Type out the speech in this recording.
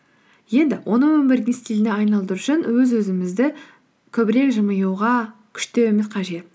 енді оны өмірдің стиліне айналдыру үшін өз өзімізді көбірек жымиюға күштеуіміз қажет